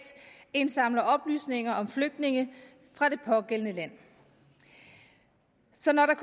indsamler oplysninger om flygtninge fra det pågældende land så når der